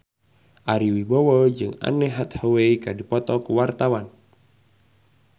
Ari Wibowo jeung Anne Hathaway keur dipoto ku wartawan